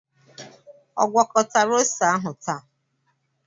Ọ gwakọtara ose ahu taa